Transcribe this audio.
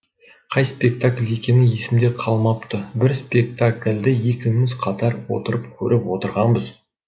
қай спектакль екені есімде қалмапты бір спектакльді екеуміз қатар отырып көріп отырғанбыз